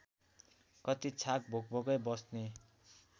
कति छाक भोकभोकै बस्ने